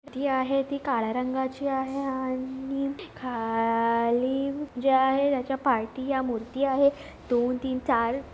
ही आहे ती काळ्या रंगाची आहे आणि खाली जे आहे ज्याच्या पायथि या मूर्ति आहे दोनतीनचार--